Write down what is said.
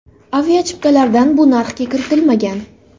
Aviachiptalardan bu narxga kiritilmagan.